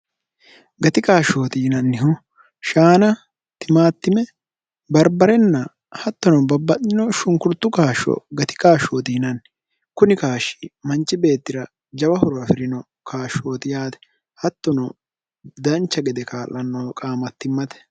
gati qaashshooti yinannihu shaana timaattime barbarenna hattono babba'nino shunkurtu kaashsho gati qaashshooti yinanni kuni kaashshi manchi beettira jawa horo afi'rino kaashshooti yaate hattono dancha gede kaa'lannoho qaamattimmate